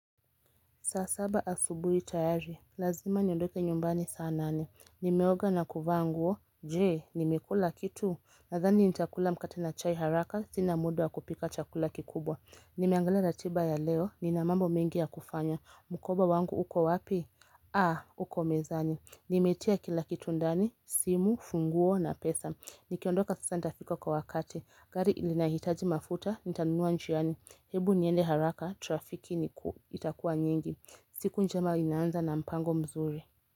Saa saba asubui tayari lazima niondoke nyumbani saa nane nimeoga na kuvaa nguo je nimekula kitu nazani nitakula mkate na chai haraka sinamuda wakupika chakula kikubwa nimeangalia ratiba ya leo ninamambo mengi yakufanya mukoba wangu uko wapi a uko mezani nimetia kilakitu ndani simu funguo na pesa nikiondoka sasa nitafika kwa wakati gari linahitaji mafuta nitanunua njiani hebu niende haraka trafiki itakuwa nyingi siku njema inaanza na mpango mzuri.